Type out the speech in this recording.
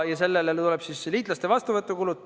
Sellele tulevad juurde liitlaste vastuvõtu kulud.